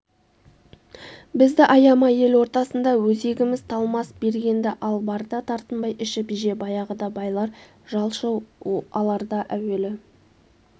бізді аяма ел ортасында өзегіміз талмас бергенді ал барды тартынбай ішіп же баяғыда байлар жалшы аларда әуелі